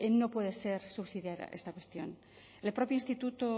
no puede ser subsidiaria esta cuestión el propio instituto